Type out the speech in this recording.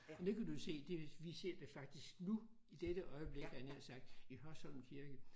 Men det kan du jo se det vi ser det faktisk nu i dette øjeblik havde jeg nær sagt i Hørsholm kirke